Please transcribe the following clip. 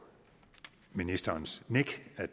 ministerens nik at